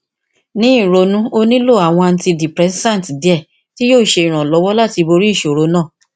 ni ronu o nilo awọn antidepressant diẹ ti yoo ṣe iranlọwọ lati bori iṣoro naa